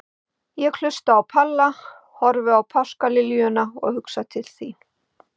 Ég hlusta á Palla, horfi á páskaliljuna og hugsa til þín.